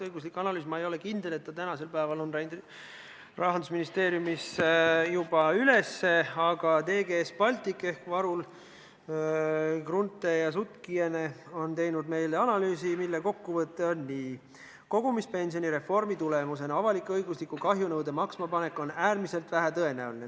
Ma ei ole kindel, kas õiguslik analüüs on tänaseks päevaks juba Rahandusministeeriumisse üles läinud, aga TGS Baltic on teinud meile analüüsi, mille kokkuvõte on selline: "Kogumispensioni reformi tulemusena avalik-õigusliku kahjunõude maksmapanek on äärmiselt vähetõenäoline.